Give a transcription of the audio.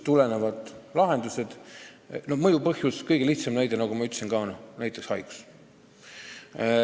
Kõige lihtsam mõjuva põhjuse näide on haigus, nagu ma ka ütlesin.